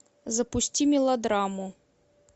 запусти мелодраму